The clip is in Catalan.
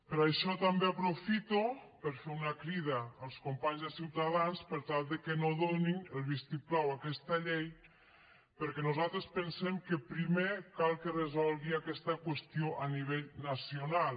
per això també aprofito per fer una crida als companys de ciutadans per tal de que no donin el vistiplau a aquesta llei perquè nosaltres pensem que primer cal que es resolgui aquesta qüestió a nivell nacional